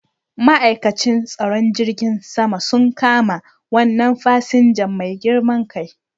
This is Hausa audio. Ma'aikacin tsaron filin jirgin sama un kama wannan fasinja mai girman kai